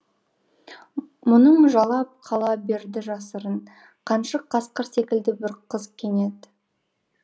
мұңын жалап қала берді жасырын қаншық қасқыр секілді бір қыз кенет